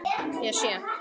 Ég sé.